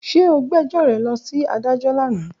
Ṣe o gbe ẹjọ rẹ lọ si adajọ lana?